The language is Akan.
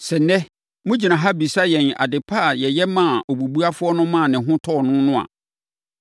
Sɛ ɛnnɛ mogyina ha bisa yɛn ade pa a yɛyɛ maa obubuafoɔ no maa ne ho tɔɔ no no a,